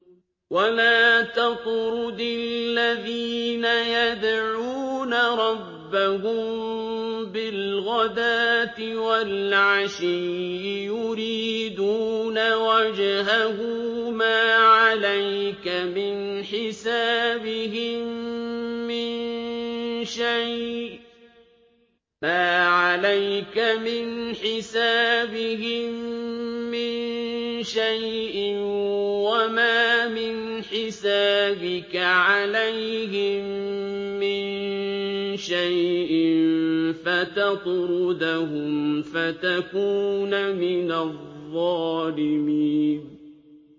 وَلَا تَطْرُدِ الَّذِينَ يَدْعُونَ رَبَّهُم بِالْغَدَاةِ وَالْعَشِيِّ يُرِيدُونَ وَجْهَهُ ۖ مَا عَلَيْكَ مِنْ حِسَابِهِم مِّن شَيْءٍ وَمَا مِنْ حِسَابِكَ عَلَيْهِم مِّن شَيْءٍ فَتَطْرُدَهُمْ فَتَكُونَ مِنَ الظَّالِمِينَ